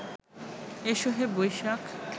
এসো হে বৈশাখ